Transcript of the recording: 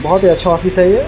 बहुत ही अच्छा ऑफिस है ये ।